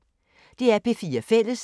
DR P4 Fælles